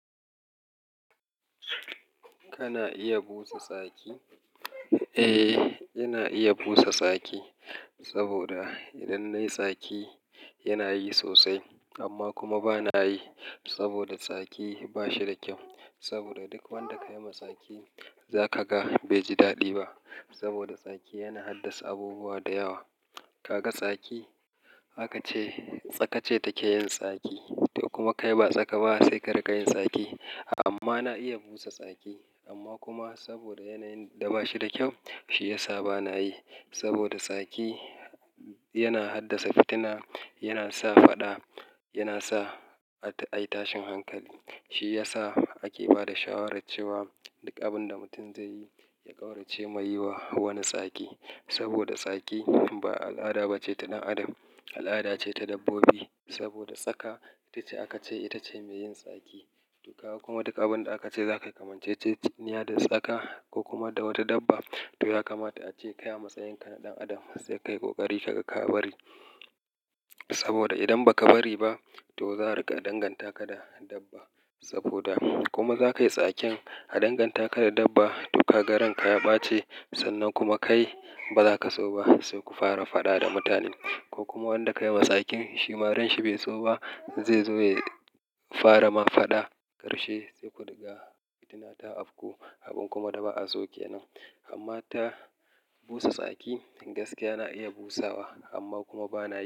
Kana iya busa tsaki? Eh, ina iya busa tsaki saboda idan nayi tsaki yana yi sosai amma kuma bana yi saboda tsaki ba shi da kyau. Saboda duk wanda ka yi ma tsaki za ka ga bai ji daɗi ba saboda tsaki yana haddasa abubuwa da yawa. Ka ga tsaki, haka ce tsaka ce take yin tsaki. To kuma kai ba tsaka ba sai ka rika yin saki. Amma na iya busa tsaki amma kuma saboda yanayin da ba shi da kyau shi ya sa bana yi. Saboda tsaki yana haddasa fitina, yana sa faɗa, yana sa a yi tashin hankali. Shi ya sa ake ba da shawarar cewa duk abin da mutum zai yi, ya ƙaurace mai yi wa wani tsaki. Saboda tsaki ba al'ada ba ce ta ɗan adam, al'ada ce ta dabbobi. Saboda tsaka ita ce aka ce ita ce mai yin saki. To kawo kuma duk abin da aka ce za kai kamanceciya da tsaka ko kuma da wata dabba, to ya kamata a ce kai a matsayinka na ɗan adam sai ka yi ƙoƙari ka bari saboda idan ba ka bari ba to za a riƙa danganta ka da dabba. Saboda kuma za ka yi tsakin a danganta ka da dabba. To ka ga ranka ya ɓace sannan kuma kai ba za ka so ba sai ku fara faɗa da mutanen. Ko kuma wanda ka yi ma tsakin shima ranshi bai so ba zai zo ya fara ma faɗa, ƙarshe sai ku riga fitina ta afku abin kuma da ba a so ke nan. Amma ta busa saki gaskiya na iya busawa amma kuma bana yi.